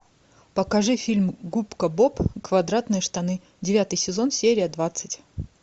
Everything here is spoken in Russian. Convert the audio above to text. покажи фильм губка боб квадратные штаны девятый сезон серия двадцать